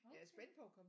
Okay